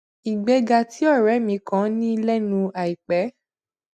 ìgbéga tí òré mi kan ní lénu àìpé